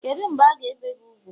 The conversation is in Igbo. kedu mgbe a ga ebee gi úgwù?